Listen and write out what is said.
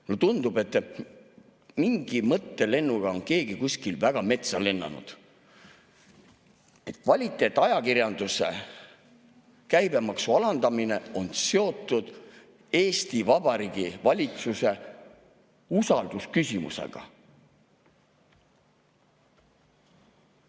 Mulle tundub, et mingi mõttelennuga on keegi kuskil väga metsa lennanud, kui kvaliteetajakirjanduse käibemaksu alandamine on seotud Eesti Vabariigi valitsuse usalduse küsimusega.